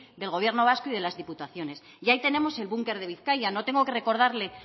del gobierno vasco y de las diputaciones y ahí tenemos el bunker de bizkaia no tengo que recordarle